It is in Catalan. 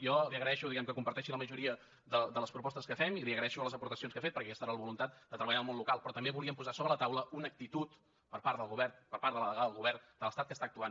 jo li agraeixo diguem ne que comparteixi la majoria de les propostes que fem i li agraeixo les aportacions que ha fet perquè aquesta era la voluntat de treballar al món local però també volíem posar sobre la taula una actitud per part del govern per part de la delegada del govern de l’estat que està actuant